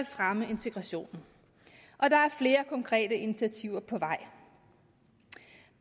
fremme integrationen og der er flere konkrete initiativer på vej